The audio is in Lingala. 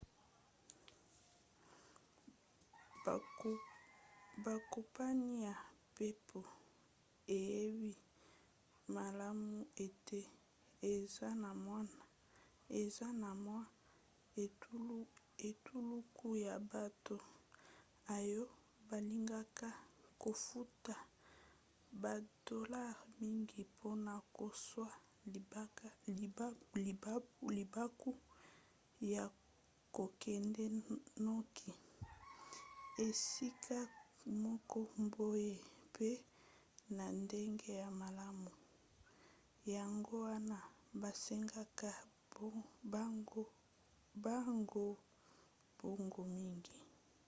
bakompani ya mpepo eyebi malamu ete eza na mwa etuluku ya bato oyo balingaka kofuta badolare mingi mpona kozwa libaku ya kokende noki esika moko boye mpe na ndenge ya malamu yango wana basengaka bango mbongo mingi